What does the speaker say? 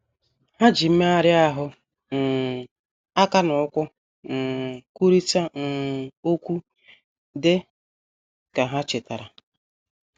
Ha ji mmegharị ahụ, “ um aka na ụkwụ ” um kwurịta um okwu, dị ka ha chetara.